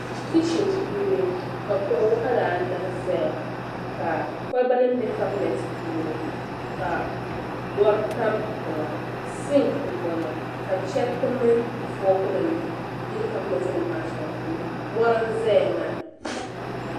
Kichin puuni ka kuɣu waɣila anahi zaya ka kɔlba nima bɛ kabinet puuni ka lɔri tam tiŋa sinki n bɔŋo ka chariti mini fɔɔk nima yili kabinet nima maa shɛŋa puuni lɔri n zaya maa.